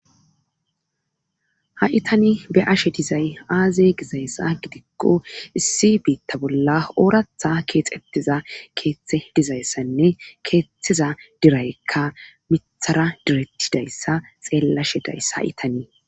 ha7itani be ashe dizay aaze gizayssa gidikko issi biitta bolla ooratha keexettiza keeththe dizayssanne keettheza diraykka mithara direttidayssa xeellashedayssa h itanii